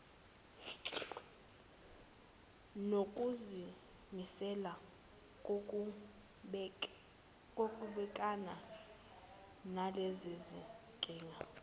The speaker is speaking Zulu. nokuzimisela kokubhekana nalezinkinga